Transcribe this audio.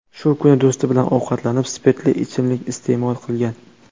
Shu kuni do‘sti bilan ovqatlanib, spirtli ichimlik iste’mol qilgan.